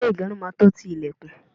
ilé igerun máa tọ ti ilekun